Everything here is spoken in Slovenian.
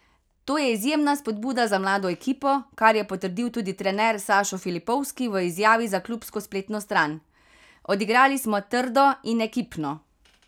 To je izjemna spodbuda za mlado ekipo, kar je potrdil tudi trener Sašo Filipovski v izjavi za klubsko spletno stran: 'Odigrali smo trdo in ekipno.